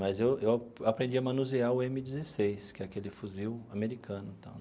Mas eu eu eu aprendi a manusear o eme dezesseis, que é aquele fuzil americano tal.